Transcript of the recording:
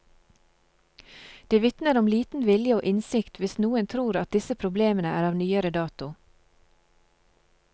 Det vitner om liten vilje og innsikt hvis noen tror at disse problemene er av nyere dato.